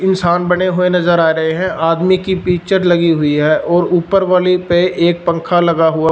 इंसान बने हुए नज़र आ रहे हैं आदमी की पिक्चर लगी हुई है और ऊपर वाली पे एक पंखा लगा हुआ--